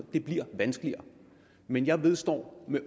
blive vanskeligere men jeg vedstår